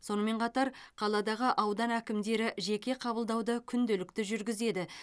сонымен қатар қаладағы аудан әкімдері жеке қабылдауды күнделікті жүргізеді